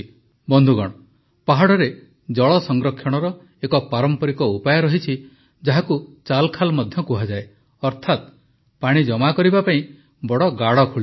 ବନ୍ଧୁଗଣ ପାହାଡ଼ରେ ଜଳ ସଂରକ୍ଷଣର ଏକ ପାରମ୍ପରିକ ଉପାୟ ରହିଛି ଯାହାକୁ ଚାଲଖାଲ୍ ମଧ୍ୟ କୁହାଯାଏ ଅର୍ଥାତ ପାଣି ଜମା କରିବା ପାଇଁ ବଡ଼ ଗାଢ଼ ଖୋଳିବା